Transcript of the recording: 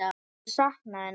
Þeir sakna hennar.